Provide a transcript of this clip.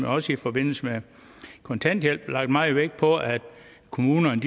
også i forbindelse med kontanthjælp lagt meget vægt på at kommunerne